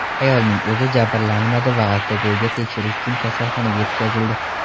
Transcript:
Ayolning o‘zi jabrlanmadi va alkogolga tekshirish uchun kasalxonaga yetkazildi.